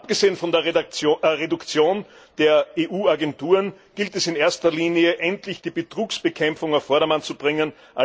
Abgesehen von der Reduzierung der EU Agenturen gilt es in erster Linie, endlich die Betrugsbekämpfung auf Vordermann zu bringen.